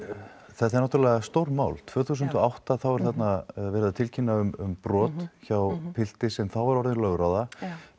þetta er náttúrulega stórt mál tvö þúsund og átta þá er þarna verið að tilkynna um brot hjá pilti sem þá var orðinn lögráða